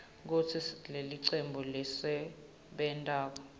kutsi lelicembu lelisebentako